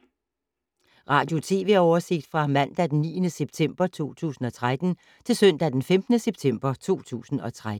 Radio/TV oversigt fra mandag d. 9. september 2013 til søndag d. 15. september 2013